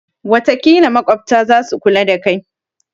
watakila maƙwabta za su kula da kai